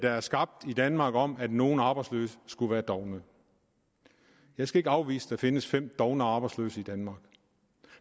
er skabt i danmark om at nogle arbejdsløse skulle være dovne jeg skal ikke afvise at der findes fem dovne arbejdsløse i danmark